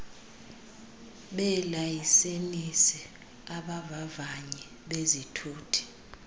beelayisenisi abavavanyi bezithuthi